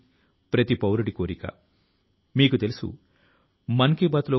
మన పురోగతి దేశం పురోగతి కి మార్గాన్ని తెరుస్తుంది